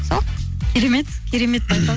сол керемет керемет байқау